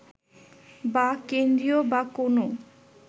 বা কেন্দ্রীয় বা কোনও